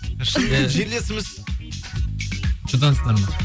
шынымен жерлесіміз шудансыңдар ма